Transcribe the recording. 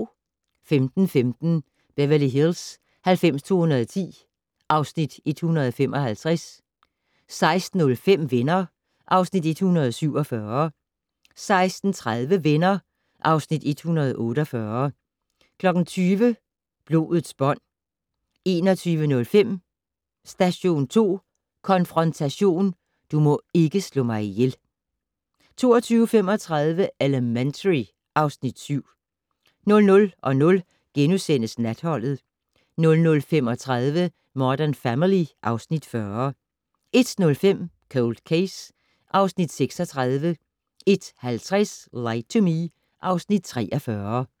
15:15: Beverly Hills 90210 (Afs. 155) 16:05: Venner (Afs. 147) 16:30: Venner (Afs. 148) 20:00: Blodets bånd 21:05: Station 2 Konfrontation: Du må ikke slå mig ihjel 22:35: Elementary (Afs. 7) 00:00: Natholdet * 00:35: Modern Family (Afs. 40) 01:05: Cold Case (Afs. 36) 01:50: Lie to Me (Afs. 43)